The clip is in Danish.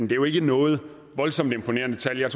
jo ikke noget voldsomt imponerende tal jeg